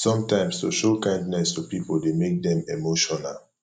sometimes to show kindness to pipo de make dem emotional